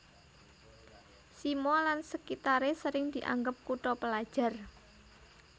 Simo lan sekitare sering dianggep kutha pelajar